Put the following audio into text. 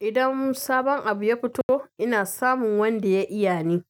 Idan sabon abu ya fito, ina samun wanda ya iya ne,